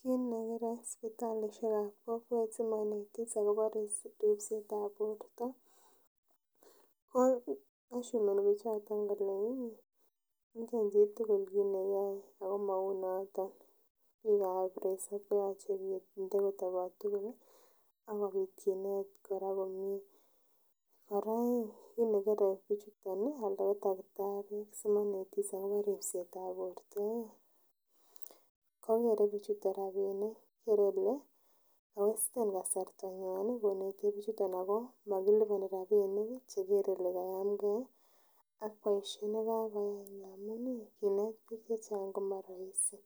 Kit nekere sipitalisiek ab kokwet simonetis akobo ripset ab borto ko ashumeni biik choton kole ih ngen chitugul kit neyoe ako mou noton biik ab resop koyoche kinde kotobot tugul ih ako yoche kinet chito komie. Kora kit nekere biik chuton anan ko takitariek simanetis akobo ripset ab borto ih ko kere bichuton rapinik, kere kole ko westen kasarta nywan koneti bichuton ako mokiliboni rapinik ih chekere kole kayamgee ih ak boisiet nekakoyai amun ih biik chechang komoroisi